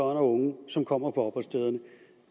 og unge som kommer på opholdsstederne